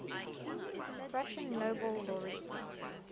russian nobel laureates